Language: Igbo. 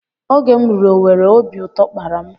Oge m ruru Owere obi ụtọ kpara m